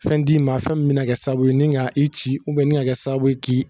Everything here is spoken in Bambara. Fɛn d'i ma fɛn min bɛna kɛ sababu ye nin ka i ci nin ka kɛ sababu ye